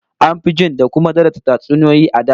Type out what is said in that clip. An fi jin da kuma daraja tatsuniyoyi a da